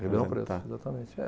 Ribeirão Preto, exatamente. É.